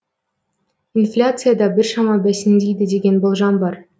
инфляция да біршама бәсеңдейді деген болжам бар